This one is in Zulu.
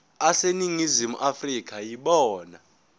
aseningizimu afrika yibona